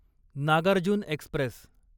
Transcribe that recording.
Nagarjuna Express